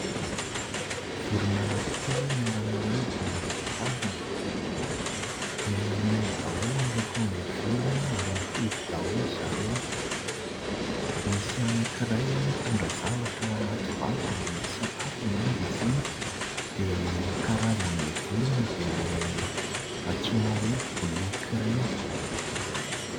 Vorona anankitelo miara-manidina no indray tazana. Menamena daholo ny lokon'ilay vorona ary mitovy daholo zareo. Misy anankiray mitondra zavatra ao anaty vavany (mety sakafo angamba izy iny) dia ny karazan'ilay vorona dia ilay antsoina hoe boloky ireny.